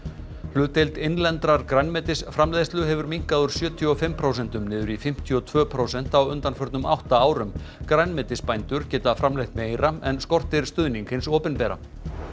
hlutdeild innlendrar grænmetisframleiðslu hefur minnkað úr sjötíu og fimm prósentum niður í fimmtíu og tvö prósent á undanförnum átta árum grænmetisbændur geta framleitt meira en skortir stuðning hins opinbera